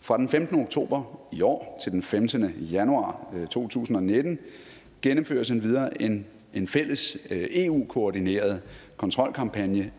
fra den femtende oktober i år til den femtende januar to tusind og nitten gennemføres endvidere en en fælles eu koordineret kontrolkampagne